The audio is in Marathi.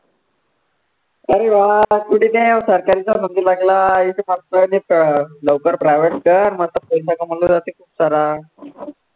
अरे वा कुठे त्या सरकारीचा बनला आहे, इथे मस्त पैकी लवकर private कर मस्त